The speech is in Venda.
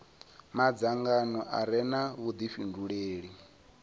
madzangano a re na vhudifhinduleli